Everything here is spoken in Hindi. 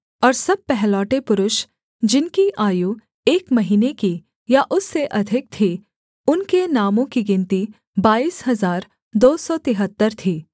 और सब पहलौठे पुरुष जिनकी आयु एक महीने की या उससे अधिक थी उनके नामों की गिनती बाईस हजार दो सौ तिहत्तर थी